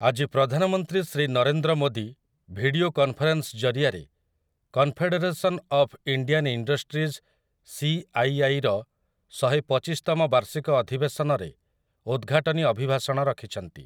ଆଜି ପ୍ରଧାନମନ୍ତ୍ରୀ Shri Narendra Modi video conference ଜରିଆରେ confederation of Indian industries CII ର ଶହେପଚିଶତମ ବାର୍ଷିକ ଅଧିବେଶନରେ ଉଦ୍‌ଘାଟନୀ ଅଭିଭାଷଣ ରଖିଛନ୍ତି ।